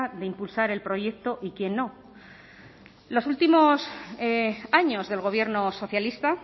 de impulsar el proyecto y quién no los últimos años del gobierno socialista